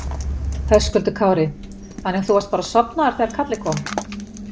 Höskuldur Kári: Þannig að þú varst bara sofnaður þegar kallið kom?